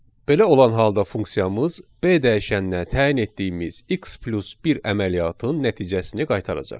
Belə olan halda funksiyamız B dəyişəninə təyin etdiyimiz x + 1 əməliyyatının nəticəsini qaytaracaq.